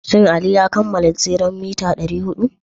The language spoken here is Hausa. Shin Aliyu ya kammala tseren mita 400?